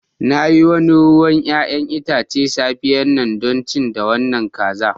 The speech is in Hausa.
Na yi wannan ruwan 'ya'yan itace a safiyar yau don ci da wannan kaza.